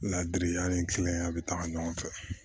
Ladiri an ni ya bɛ taga ɲɔgɔn fɛ